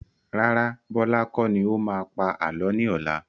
Rárá, Bọlá kọ́ ni ó máa pa àálọ́ ni ọ̀la.